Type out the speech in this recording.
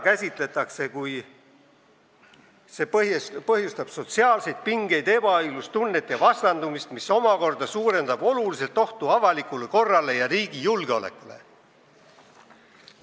Öeldakse, et see põhjustab sotsiaalseid pingeid, ebaõiglustunnet ja vastandumist, mis omakorda suurendab oluliselt ohtu avalikule korrale ja riigi julgeolekule.